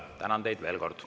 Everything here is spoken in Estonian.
Tänan teid veel kord.